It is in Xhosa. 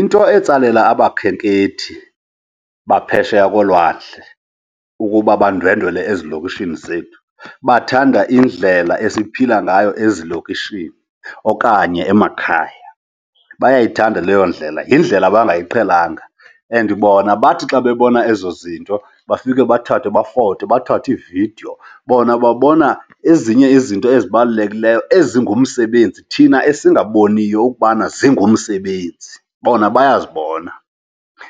Into etsalela abakhenkethi baphesheya kolwandle ukuba bandwendwele ezilokishini zethu, bathanda indlela esiphila ngayo ezilokishini okanye emakhaya, bayayithanda leyo indlela. Yindlela abangayiqhelanga and bona bathi xa bebona ezo zinto bafike bathathe bafote, bathathe iividiyo. Bona babona ezinye izinto ezibalulekileyo ezingumsebenzi thina esingabonakaliyo ukubana zingumsebenzi, bona bayazibona.